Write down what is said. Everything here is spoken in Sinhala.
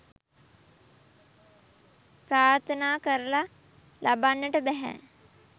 ප්‍රාර්ථනා කරල ලබන්නට බැහැ.